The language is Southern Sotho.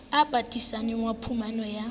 o patisaneng wa phumano ya